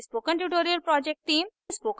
spoken tutorial project team: